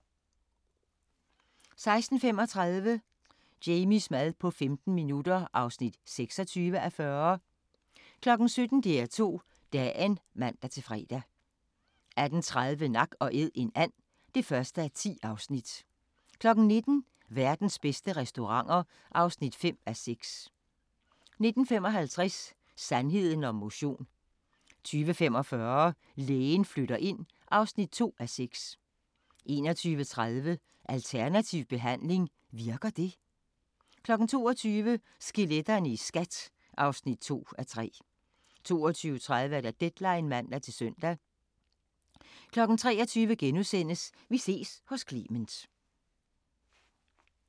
16:35: Jamies mad på 15 minutter (26:40) 17:00: DR2 Dagen (man-fre) 18:30: Nak & æd - en and (1:10) 19:00: Verdens bedste restauranter (5:6) 19:55: Sandheden om motion 20:45: Lægen flytter ind (2:6) 21:30: Alternativ behandling – virker det? 22:00: Skeletterne i SKAT (2:3) 22:30: Deadline (man-søn) 23:00: Vi ses hos Clement *